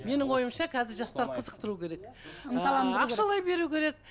менің ойымша қазір жастарды қызықтыру керек ақшалай беру керек